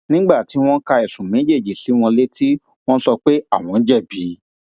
nígbà tí wọn ka ẹsùn méjèèjì sí wọn létí wọn sọ pé àwọn jẹbi